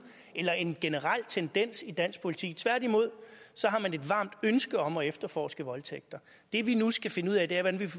eller en generel tendens i dansk politi tværtimod har man et varmt ønske om at efterforske voldtægter det vi nu skal finde ud af er hvordan